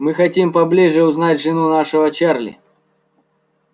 мы хотим поближе узнать жену нашего чарли